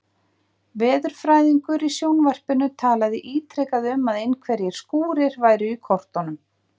Veðurfræðingur í sjónvarpinu talaði ítrekað um að einhverjir skúrir væru í kortunum.